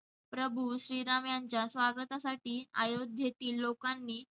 प्रभू श्री राम यांच्या स्वागतासाठी अयोध्येतील लोकांनी